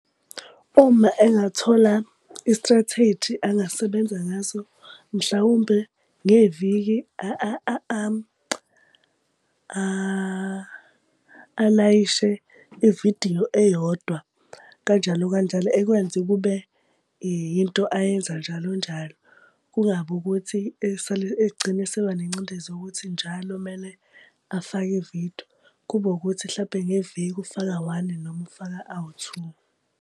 Uma engathola i-strategy angasebenza ngaso, mhlawumbe ngeviki alayishe ividiyo eyodwa, kanjalo kanjalo. Ekwenze kube yinto ayenza njalo njalo. Kungabi ukuthi esale egcine eseba nengcindezi yokuthi njalo kumele afake ividiyo. Kube wukuthi hlampe ngeviki ufaka one noma ufaka awu two.